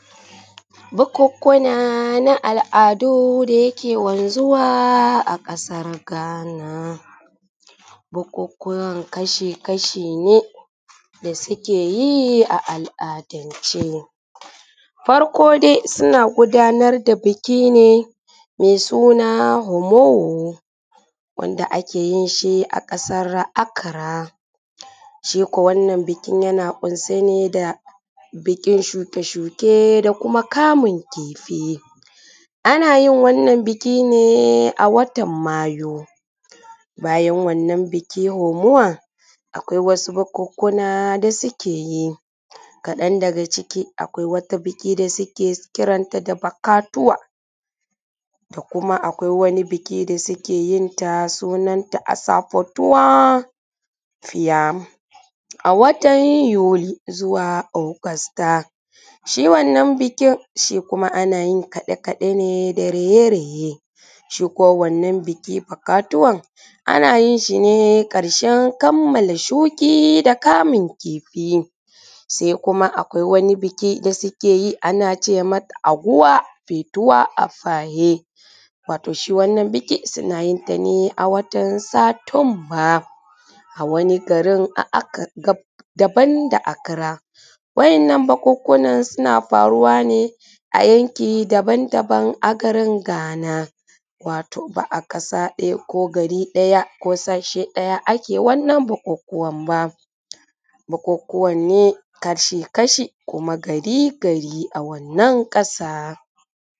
Bukunkuna na al’adu da yake wanzuwa a ƙasar Ghana. Bukukuwan kashi-kashi ne, da suke yi a al’adance. Farko dai suna gudanar da biki ne mai suna ‘Homowo’ wanda ake yin shi a ƙasar Akara. Shi ko wannan bikin yana ƙunshe ne da bikin shuke-shuke da kuma kamun kifi. Ana yin wannan biki ne a watan Mayu. Bayan wannan biki ‘Homuwa’, akwai wasu bukunkuna da suke yi. Kaɗan daga ciki akwai wata biki da suke kiran ta da ‘Bakatuwa’; da kuma akwai wata biki da suke yin ta sunanta ‘Asafotuwa Fiyam’ a watan Yuli zuwa Agusta. Shi wannan bikin shi kuma ana yi kaɗe-kaɗe ne da raye-raye. Shi kuwa wannan biki ‘Fokatuwan’ ana yin shi ne ƙarshen kammale shiki da kamun kifi; sai kuma akwai wani biki da suke yi ana ce mata ‘Aguwa Fetuwa Afaye’. Wato shi wannan biki, suna yin shi ne a watan Satumba, a wani garin daban da Akra. Wa`yannan bukunkunan suna faruwa ne a yanki daban-daban a garin Ghana. Wato ba a ƙasa ɗaya, ko gari ɗaya ko sashe ɗaya ake wannan bukukuwan ba. Bukukuwan ne kashi-kashi kuma gari-gari a wannan ƙasa.